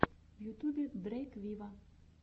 в ютьюбе дрейк виво